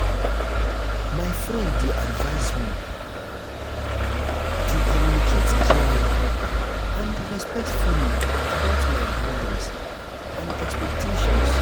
my friend dey advise me to communicate clearly and respectfully about my boundaries and expectations.